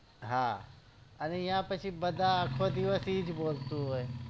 હા અને પછી આખો દિવસ એજ બોલતું હોય